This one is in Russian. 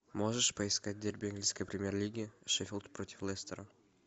можешь поискать дерби английской премьер лиги шеффилд против лестера